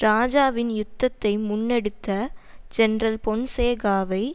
இராஜாவின் யுத்தத்தை முன்னெடுத்த ஜெனரல் பொன்சேகாவை